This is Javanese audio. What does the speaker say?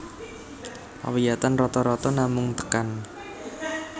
Pawiyatan rata rata namung tekan